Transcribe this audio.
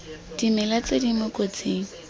dimela tse di mo kotsing